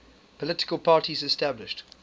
political parties established